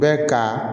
Bɛ ka